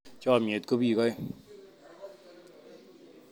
Chomyet ko biik aeng